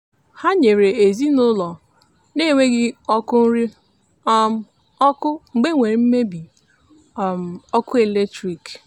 ha nyere ezinụụlọ na-enweghị ọkụ uri um ọkụ mgbe e nwere mmebi um ọkụ eletrik.